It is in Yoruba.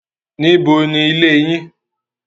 Níbo ni ilé yín?